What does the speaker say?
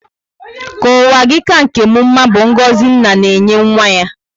Ka ụwa gị ka nkè m mmá bu ngọzi nna na enye nwa ya